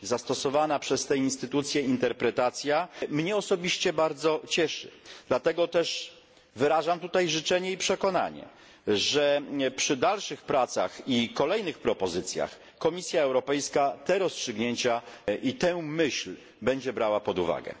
Zastosowana przez te instytucje interpretacja mnie osobiście bardzo cieszy, dlatego też wyrażam tutaj życzenie i przekonanie, że przy dalszych pracach i kolejnych propozycjach Komisja Europejska te rozstrzygnięcia i tę myśl będzie brała pod uwagę.